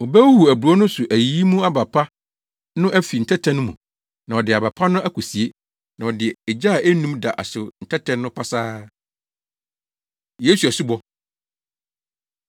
Obehuhuw aburow no so ayiyi mu aba pa no afi ntɛtɛ no mu, na ɔde aba pa no akosie, na ɔde ogya a ennum da ahyew ntɛtɛ no pasaa.” Yesu Asubɔ